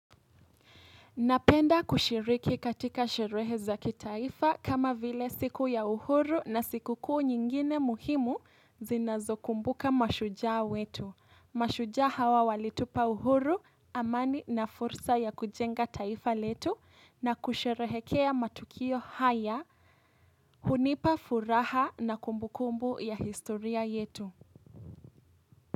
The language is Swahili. Napenda kushiriki katika sherehe zakitaifa kama vile siku ya uhuru na siku kuu nyingine muhimu zinazo kumbuka mashujaa wetu. Mashujaa hawa walitupa uhuru, amani na fursa ya kujenga taifa letu na kusherehekea matukio haya, hunipa furaha na kumbukumbu ya historia yetu.